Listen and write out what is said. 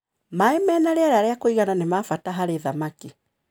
Maĩ mena rĩera ria kũigana nĩ mabata harĩ thamaki.